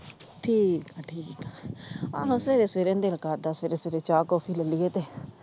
ਠੀਕ ਆ ਠੀਕ ਆ ਆਹੋ ਸਵੇਰੇ ਸਵੇਰੇ ਦਿਲ ਕਰਦਾ ਸਵੇਰੇ ਸਵੇਰੇ ਚਾਹ ਕਾਫੀ ਲੈ ਲਈਏ ਤੇ,